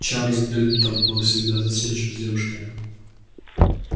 чарлз гамильтон был всегда застенчив с девушками